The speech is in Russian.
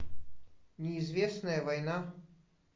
неизвестная война